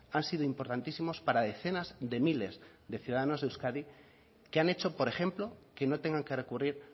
han sido importantísimos para decenas de miles de ciudadanos de euskadi que han hecho por ejemplo que no tengan que recurrir